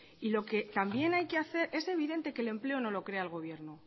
y lo que también hay que hacer es evidente que el empleo no lo crea el gobierno